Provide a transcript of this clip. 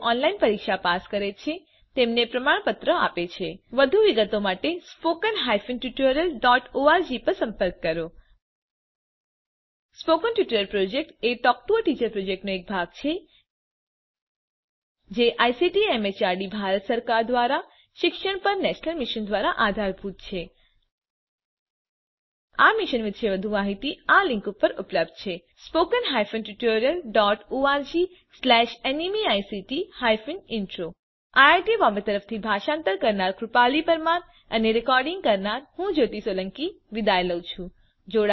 જેઓ ઓનલાઇન પરીક્ષા પાસ કરે છે તેમને પ્રમાણપત્રો પણ આપે છે વધુ વિગતો માટે spoken hyphen tutorial dot org પર સંપર્ક કરો સ્પોકન ટ્યુટોરીયલ પ્રોજેક્ટ એ ટોક ટુ અ ટીચર પ્રોજેક્ટનો એક ભાગ છે જે આઇસીટીએમએચઆરડી ભારત સરકાર દ્વારા શિક્ષણ પર નેશનલ મિશન દ્વારા આધારભૂત છે આ મિશન વિશે વધુ જાણકારી આ લીંક ઉપર ઉપલબ્ધ છે spoken hyphen tutorial dot org slash NMEICT hyphen intro IIT Bombay તરફથી ભાષાંતર કરનાર હું કૃપાલી પરમાર વિદાય લઉં છુ